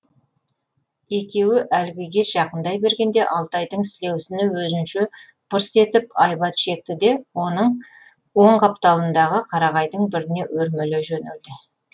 екеуі әлгіге жақындай бергенде алтайдың сілеусіні өзінше пырс етіп айбат шекті де оның оң қапталындағы қарағайдың біріне өрмелей жөнелді